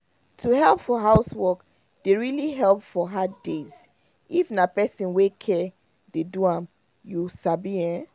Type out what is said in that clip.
to help for housework dey really help for hard days if na person wey care dey do am you sabi ehn